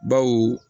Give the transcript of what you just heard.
Baw